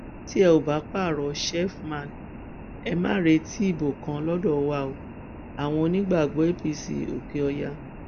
tẹ ò bá pààrọ sheffman ẹ má retí ìbò kan lọdọ wa o àwọn onígbàgbọ apc òkèọyà